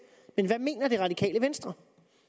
men hvad mener det radikale venstre